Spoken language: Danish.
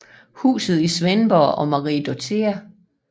Husen i Svendborg og Marie Dorthea f